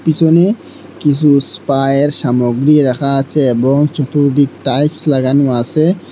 পিসনে কিছু স্পায়ের সামগ্রী রাখা আছে এবং চতুর্দিক টাইলস লাগানো আসে।